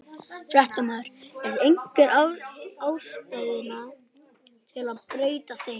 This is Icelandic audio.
Fréttamaður: Er einhver ástæða til að breyta þeim?